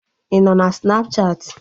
Ịnọ na Snapchatị?